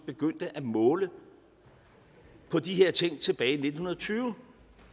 begyndte at måle på de her ting tilbage i nitten tyve